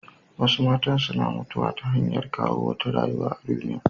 Wasu matan suna mutuwa ta hanyar kawo wata rayuwa a duniya.